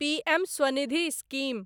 PM Svanidhi scheme